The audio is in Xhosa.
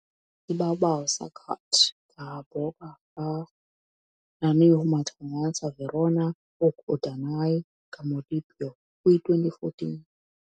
Ibabaw sa dagat kahaboga ang nahimutangan sa Verona, ug adunay ka molupyo, Kwi2014.